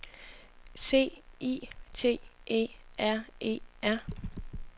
C I T E R E R